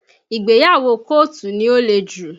Ìgbéyàwó kọ́ọ̀tù ni ó le jù